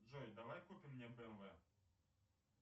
джой давай купим мне бмв